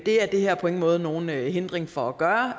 er det her på ingen måde nogen hindring for at gøre